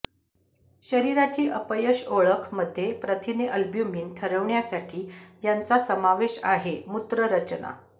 शरीराची अपयश ओळख मध्ये प्रथिने अल्ब्युमिन ठरवण्यासाठी यांचा समावेश आहे मूत्र रचना